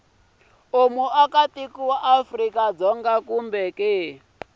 muakatiko wa afrika dzonga kumbe